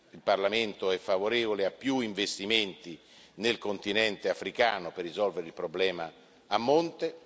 Il Parlamento è favorevole a più investimenti nel continente africano per risolvere il problema a monte.